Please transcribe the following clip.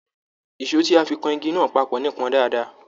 Èsó tí a fí kàn ìgi náà papọ nipọn dáadáa.